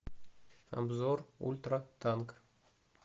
обзор ультратанк